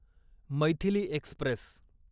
Maithili Express